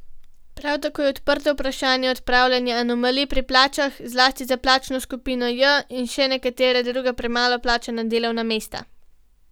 Prav tako je odprto vprašanje odpravljanja anomalij pri plačah, zlasti za plačno skupino J in še nekatera druga premalo plačana delovna mesta.